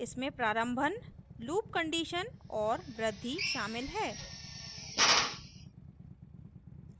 इसमें प्रारम्भन loop condition और वृद्धि शामिल है